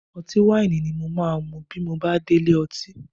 Ọtí wáìnì ni mo máa mu bí mo dé ilé ọtí